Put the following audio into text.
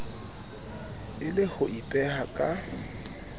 e le ho ipeha ka